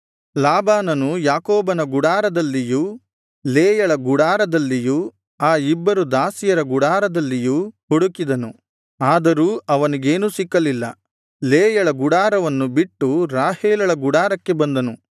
ಲಾಬಾನನು ಯಾಕೋಬನ ಗುಡಾರದಲ್ಲಿಯೂ ಲೇಯಳ ಗುಡಾರದಲ್ಲಿಯೂ ಆ ಇಬ್ಬರು ದಾಸಿಯರ ಗುಡಾರದಲ್ಲಿಯೂ ಹುಡುಕಿದನು ಆದರೂ ಅವನಿಗೇನೂ ಸಿಕ್ಕಲ್ಲಿಲ್ಲ ಲೇಯಳ ಗುಡಾರವನ್ನು ಬಿಟ್ಟು ರಾಹೇಲಳ ಗುಡಾರಕ್ಕೆ ಬಂದನು